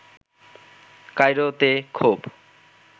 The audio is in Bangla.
কায়রোতে ক্ষোভ